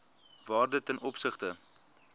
waarde ten opsigte